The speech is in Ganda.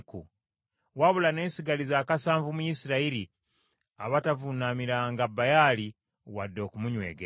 Wabula nesigaliza akasanvu mu Isirayiri, abatavuunamiranga Baali wadde okumunywegera.”